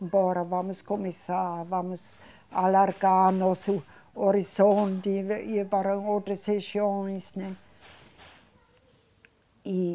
Embora, vamos começar, vamos alargar nosso horizonte e ir para outras regiões, né? E